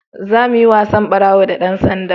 za mu yi wasan ɓarawo da dan sanda